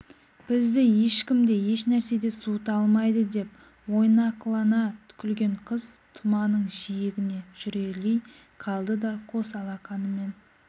бізді ешкім де ешнәрсе де суыта алмайды деп ойнақылана күлген қыз тұманың жиегіне жүрелей қалды да қос алақанымен